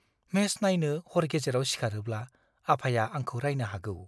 Match नायनो हर गेजेराव सिखारोब्ला, आफाया आंखौ रायनो हागौ।